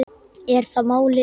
Er það málið?